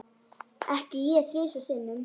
Ekki ég þrisvar sinnum.